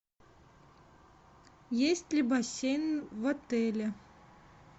есть ли бассейн в отеле